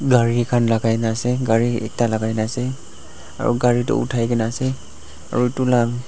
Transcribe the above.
Gari khan lagai na ase gari ekta lagai na ase aru gari tu uthai ke na ase aru tu lah--